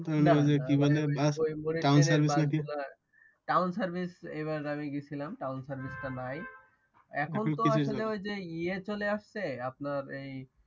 ওই যে কি বলে Town Service নাকি কি Town Service এইবার আমি গেছিলাম Town Service নাই এখনতো আসলে ওইযে ইয়ে চলে আসছে আপনার এই